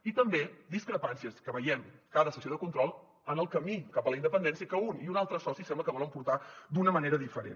i també discrepàncies que veiem a cada sessió de control en el camí cap a la independència que un i un altre soci sembla que volen portar d’una manera diferent